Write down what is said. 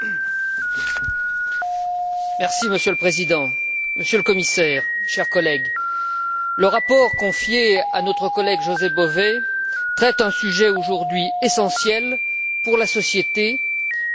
Monsieur le Président, Monsieur le Commissaire, chers collègues, le rapport confié à notre collègue José Bové traite un sujet aujourd'hui essentiel pour la société, du consommateur au producteur.